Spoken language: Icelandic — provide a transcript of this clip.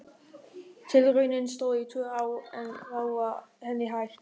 Tilraunin stóð í tvö ár en þá var henni hætt.